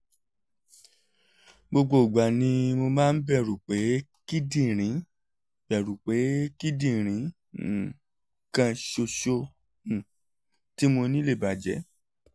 gbogbo ìgbà ni mo máa ń bẹ̀rù pé kíndìnrín bẹ̀rù pé kíndìnrín um kan ṣoṣo um tí mo ní lè bàjẹ́